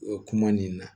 O kuma nin na